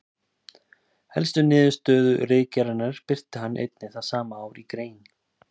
Helstu niðurstöðu ritgerðarinnar birti hann einnig það sama ár í grein.